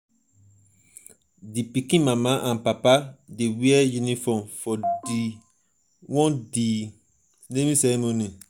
di pikin mama and papa dey wear uniform for di for di naming ceremony.